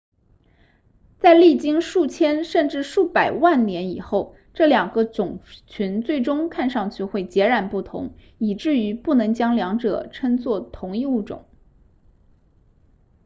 在历经数千甚至数百万年以后这两个种群最终看上去会截然不同以致于不能将两者称作同一物种